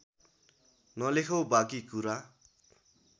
नलेखौँ बाँकी कुरा